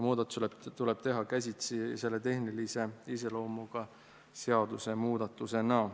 Muudatusi tuleb teha käsitsi tehnilise iseloomuga seadusemuudatustena.